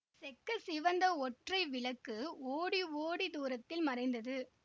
செக்க சிவந்த ஒற்றை விளக்கு ஓடி ஓடித் தூரத்தில் மறைந்தது